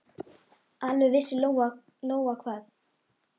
Alveg vissi Lóa-Lóa hvað